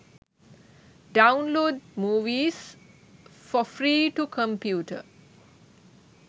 download movies for free to computer